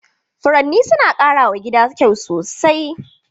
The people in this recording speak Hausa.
Furanni suna ƙara wa gida kyau sosai.